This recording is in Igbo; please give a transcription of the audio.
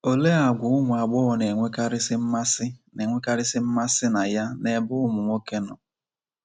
Olee àgwà ụmụ agbọghọ na-enwekarịsị mmasị na-enwekarịsị mmasị na ya n’ebe ụmụ nwoke nọ?